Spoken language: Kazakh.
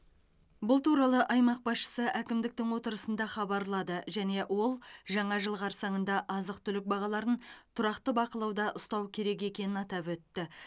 бұл туралы аймақ басшысы әкімдіктің отырысында хабарлады және ол жаңа жыл қарсаңында азық түлік бағаларын тұрақты бақылауда ұстау керек екенін атап өтті